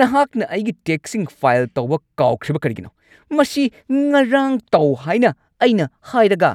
ꯅꯍꯥꯛꯅ ꯑꯩꯒꯤ ꯇꯦꯛꯁꯁꯤꯡ ꯐꯥꯏꯜ ꯇꯧꯕ ꯀꯥꯎꯈ꯭ꯔꯤꯕ ꯀꯔꯤꯒꯤꯅꯣ? ꯃꯁꯤ ꯉꯔꯥꯡ ꯇꯧ ꯍꯥꯏꯅ ꯑꯩꯅ ꯍꯥꯏꯔꯒ꯫